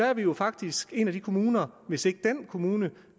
er jo faktisk en af de kommuner hvis ikke dén kommune